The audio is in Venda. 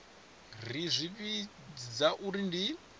ri zwi vhidza uri ndi